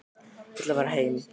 Ég ætla að fara heim.